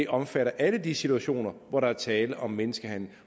omfatter alle de situationer hvor der er tale om menneskehandel